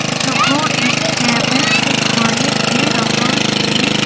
यह एक केबिन दिखाई दे रहा है।